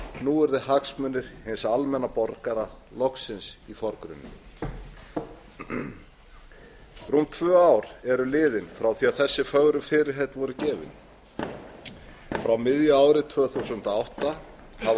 nú yrðu hagsmunir hins almenna borgara loksins í forgrunni rúm tvö ár eru liðin frá því að þessi fögru fyrirheit voru gefin frá miðju ári tvö þúsund og átta hafa